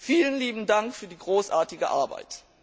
Vielen lieben Dank für die großartige Arbeit!